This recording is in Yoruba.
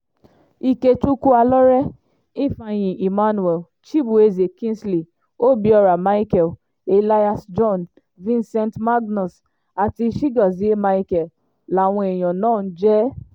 ikechukwu alọ́rẹ́ ifeanyi emmanuel chibueze kingsley obiora micheal elias john vincent magnus àti chigozie micheal làwọn èèyàn náà ń jẹ